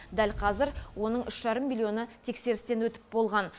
дәл қазір оның үш жарым миллионы тексерістен өтіп болған